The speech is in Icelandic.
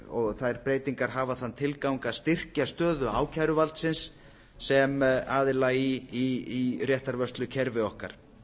og þær breytingar hafa þann tilgang að styrkja stöðu ákæruvaldsins sem aðila í réttarvörslukerfi okkar